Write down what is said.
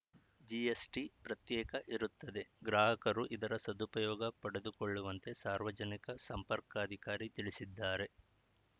GST ಪ್ರತ್ಯೇಕ ಇರುತ್ತದೆ ಗ್ರಾಹಕರು ಇದರ ಸದುಪಯೋಗ ಪಡೆದುಕೊಳ್ಳುವಂತೆ ಸಾರ್ವಜನಿಕ ಸಂಪರ್ಕಾಧಿಕಾರಿ ತಿಳಿಸಿದ್ದಾರೆ